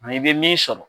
i bɛ min sɔrɔ